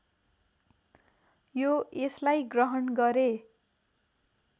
यो यसलाई ग्रहण गरे